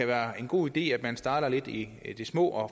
være en god idé at man starter lidt i det små og